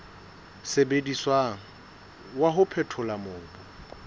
sebediswang wa ho phethola mobu